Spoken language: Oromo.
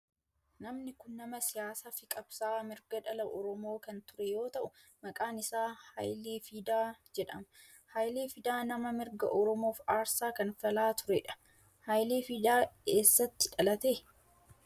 Namni kun nama siyaasaa fi qabsa'aa mirga dhala oromoo kan ture yoo ta'u maqaan isaa Hayilee Fidaa jedhama. Hayilee Fidaa nama mirga oromoof aarsaa kanfalaa turedha. Hayilee Fidaa eessatti dhalate?